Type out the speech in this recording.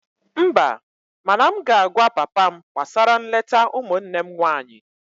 Mba, mana m ga-agwa papa m gbasara nleta ụmụnne m nwanyị